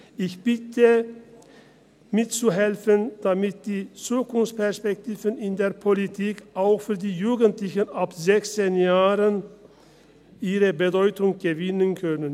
Ich bitte mitzuhelfen, damit die Zukunftsperspektiven in der Politik, auch für die Jugendlichen ab 16 Jahren, an Bedeutung gewinnen können.